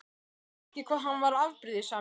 Þoldi ekki hvað hann var afbrýðisamur.